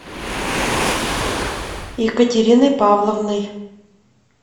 екатериной павловной